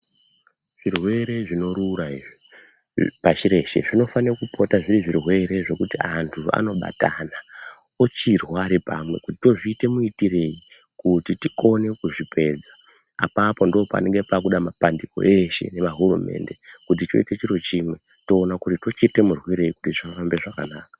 Zvirwere zvino rura izvi pashi reshe zvino fane kupote zviri zvirwere zvekuti antu ano batana ochirwa ari pamwe to zviita mu itirei kuti tikone ku zvipedza apapo ndo panenge pakuda ma pandiko eshe neva hurumende kuti toite chiro chimwe to ona kuti tochiita murwirei kuti zvi fambe zvakanaka.